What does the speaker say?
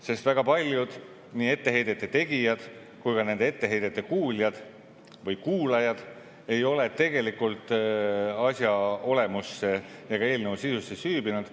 Sest väga paljud nii etteheidete tegijad kui ka nende etteheidete kuuljad või kuulajad ei ole tegelikult asja olemusse ega eelnõu sisusse süüvinud.